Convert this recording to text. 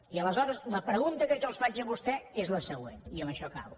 i aleshores la pregunta que jo els faig a vostès és la següent i amb això acabo